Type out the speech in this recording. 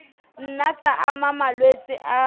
nna tsa ama malwetse a